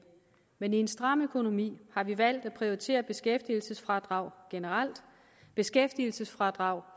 men i en stram økonomi har vi valgt at prioritere beskæftigelsesfradraget generelt beskæftigelsesfradraget